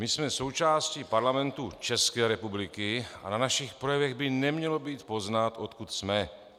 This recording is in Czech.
My jsme součástí Parlamentu České republiky a na našich projevech by nemělo být poznat, odkud jsme.